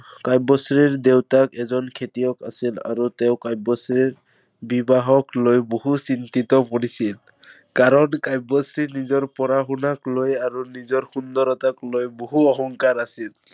কাব্যশ্ৰীৰ দেউতাক এজন খেতিয়ক আছিল আৰু তেওঁ কাব্যশ্ৰীৰ বিবাহক লৈ বহু চিন্তিত কৰিছিল। কাৰণ, কাব্যশ্ৰী নিজৰ পঢ়া-শুনাক লৈ আৰু নিজৰ সুন্দৰতাক লৈ বহু অহংকাৰ আছিল।